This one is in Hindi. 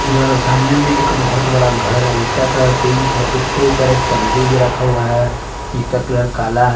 यह सामने में एक बहुत बड़ा घर है जिसका कलर पिंक है उसके ऊपर एक टंकी भी रखा हुआ है जिसका कलर काला है।